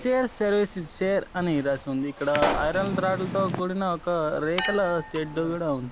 Chair services share అని రాసి ఉంది ఇక్కడ ఐరన్ రాడ్ల తో కూడిన ఒక రేకుల షెడ్డు కూడా ఉంది.